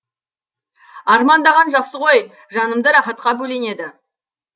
армандаған жақсы ғой жанымды рахатқа бөленеді